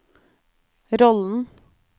rollen